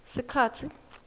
sikhatsi